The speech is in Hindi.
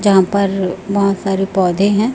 जहाँ पर बहोत सारे पौधे हैं।